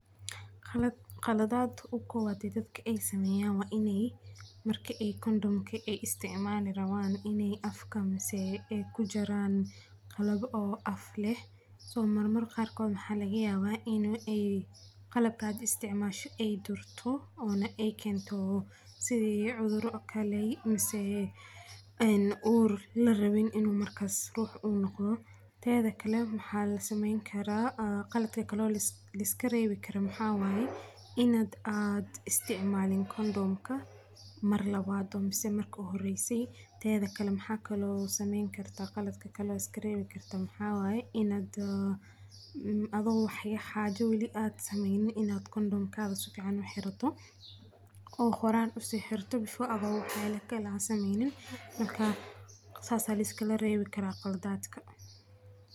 Khaladaad ugu kowaada ee dadka sameyaan wainey marka ee Kondhom aye isticmaalayan wainey afka miseh ee kujaran qalaab oo aaf leh So marmar qarkood waxa layaga labaa iney qalabka hada isticmalayan ee turto ona ee keyto sidhii cudura oo kale misene uur larawin inu markas ruha noqodo tadha kale maxa lasameyni kara khaladka kalo laiskaariwi karo inaad istiicmaalin Kondham mar lawada mise marka ugu horeyse tedha kale maxa kalo sameyni karta khaladaka kalo iskaarewi karta maxawaye intaa ad adho wali wax haajo sameynin Kondhom ka sifiican uxiirato oo xoraana usi xiiraato Before wax yala kale aa sameynin marka saasa laiskalarewi kara khaladadka.